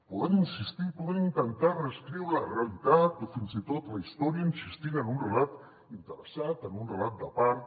poden insistir poden intentar reescriure la realitat o fins i tot la història insistint en un relat interessat en un relat de part